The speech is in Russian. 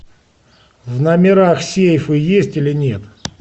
в номерах сейфы есть или нет